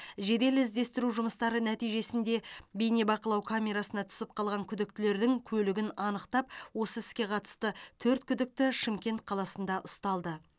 жедел іздестіру жұмыстары нәтижесінде бейнебақылау камерасына түсіп қалған күдіктілердің көлігін анықтап осы іске қатысты төрт күдікті шымкент қаласында ұсталды